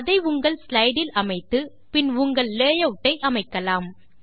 அதை உங்கள் ஸ்லைடு இல் அமைத்து பின் உங்கள் லேஅவுட்டை அமைக்கலாம்